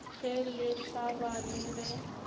ge le hlaba le ge